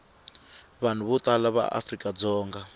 vanhu vo tala va afrikadzonga